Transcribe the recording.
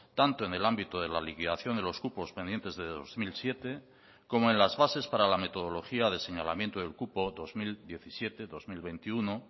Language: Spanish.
tanto en el ámbito de la liquidación de los cupos pendientes de dos mil siete como en las bases para la metodología de señalamiento del cupo dos mil diecisiete dos mil veintiuno